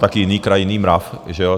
Také jiný kraj, jiný mrav, že jo.